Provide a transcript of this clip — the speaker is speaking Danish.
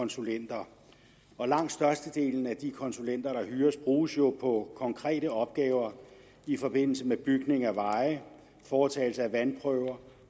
konsulenter langt størstedelen af de konsulenter der hyres bruges jo på konkrete opgaver i forbindelse med bygning af veje foretagelse af vandprøver